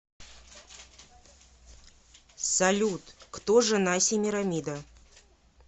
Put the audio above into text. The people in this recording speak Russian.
салют кто жена семирамида